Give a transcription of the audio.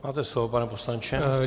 Máte slovo, pane poslanče.